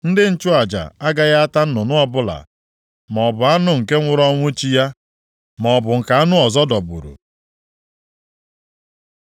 Ndị nchụaja agaghị ata nnụnụ ọbụla, maọbụ anụ nke nwụrụ ọnwụ chi ya, maọbụ nke anụ ọzọ dọgburu.